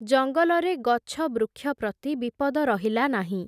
ଜଙ୍ଗଲରେ ଗଛବୃକ୍ଷ ପ୍ରତି ବିପଦ ରହିଲା ନାହିଁ ।